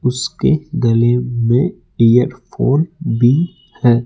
उसके गले में ईरफ़ोन भी हैं।